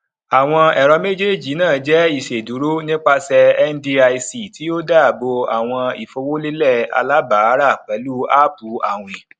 àwọn ẹrọ méjì náà jẹ ìṣedúró nipasẹ ndic tí ó dáàbò àwọn ìfowólélẹ alábàárà pẹlú áápù àwìn